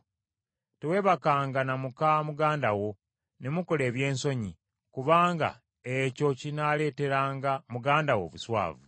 “ ‘Teweebakanga na muka muganda wo ne mukola ebyensonyi, kubanga ekyo kinaaleeteranga muganda wo obuswavu.